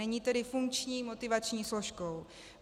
Není tedy funkční motivační složkou.